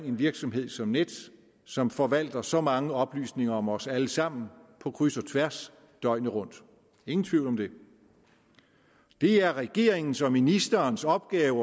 en virksomhed som nets som forvalter så mange oplysninger om os alle sammen på kryds og tværs døgnet rundt ingen tvivl om det det er regeringens og ministerens opgave